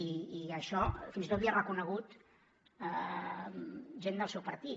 i això fins i tot l’hi ha reconegut gent del seu partit